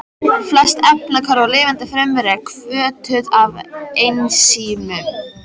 Flest efnahvörf í lifandi frumu eru hvötuð af ensímum.